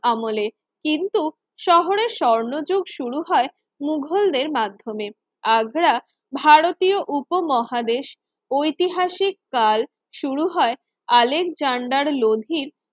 আমলের কিন্তু শহরের স্বর্ণযুগ শুরু হয় মুঘলদের মাধ্যমে আগ্রা ভারতীয় উপমহাদেশ ঐতিহাসিক কাল শুরু হয় আলেকজান্ডার লোধীর